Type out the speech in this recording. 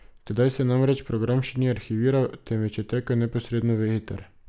Tedaj se namreč program še ni arhiviral, temveč je tekel neposredno v eter.